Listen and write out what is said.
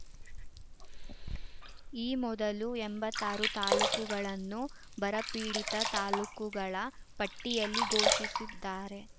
ಈ ಮೊದಲು ಎಂಬತ್ತಾರು ತಾಲೂಕುಗಳನ್ನು ಬರಪೀಡಿತ ತಾಲೂಕುಗಳ ಪಟ್ಟಿಯಲ್ಲಿ ಘೋಷಿಸಿದ್ದಾರೆ